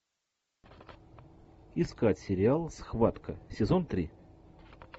искать сериал схватка сезон три